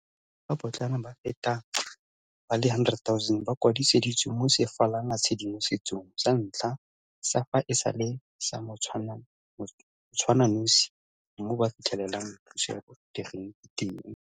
Balemirui ba ba potlana ba feta ba le 100 000 ba kwadisitswe mo sefalanatshedimosetsong sa ntlha sa fa e sale sa motshwananosi mo ba fitlhelelang thuso ya botegeniki teng.